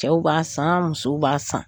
Cɛw b'a san musow b'a san